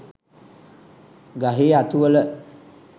ගහේ අතුවල